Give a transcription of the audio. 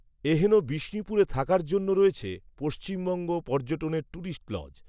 এহেন বিষ্ণুপুরে থাকার জন্য রয়েছে, পশ্চিমবঙ্গ পর্যটনের ট্যুরিস্ট লজ